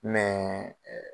Mɛ ɛɛ